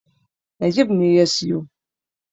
Najeeb ne ya siyo.